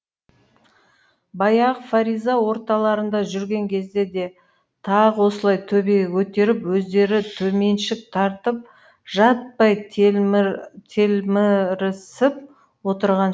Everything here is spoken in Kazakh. баяғы фариза орталарында жүрген кезде де тағы осылай төбеге көтеріп өздері төменшік тартып жаппай телмірісіп отырған